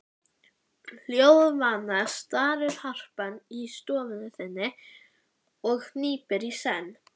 Hljóðvana starir harpan í stofu þinni og hnípin í senn.